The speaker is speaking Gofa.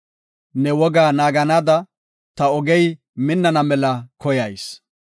Ne wogaa naagada ta ogey minnana mela koyayis.